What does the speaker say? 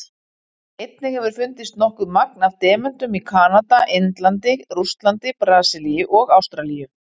Einnig hefur fundist nokkuð magn af demöntum í Kanada, Indlandi, Rússlandi, Brasilíu og Ástralíu.